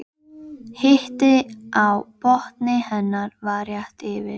En nú heyrðist skvamp við Tjarnarhólmann.